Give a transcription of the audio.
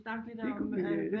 Det kunne vi øh